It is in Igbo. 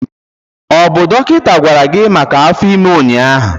Ọ bụ dọkịta gwara gị maka afọ ime ụnyaahụ?